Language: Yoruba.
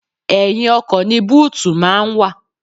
Ẹ̀yìn ọkọ̀ ni búùtù máa ń wà.